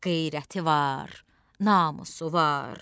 Qeyrəti var, namusu var.